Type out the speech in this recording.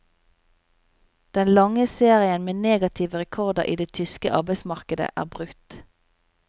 Den lange serien med negative rekorder i det tyske arbeidsmarkedet er brutt.